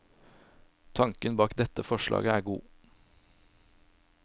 Tanken bak dette forslaget er god.